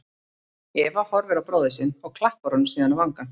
Eva horfir á bróður sinn og klappar honum síðan á vangann.